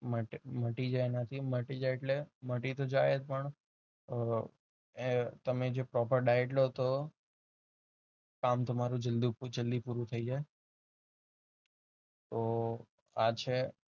મટી જાય અને મટી જાય એટલે મટી તો જાય જ પણ તમે જે proper diet લો તો કામ તમારું જલ્દી પૂરું થઈ જાય તો આ છે